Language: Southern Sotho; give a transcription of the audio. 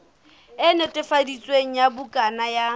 e netefaditsweng ya bukana ya